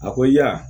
A ko ya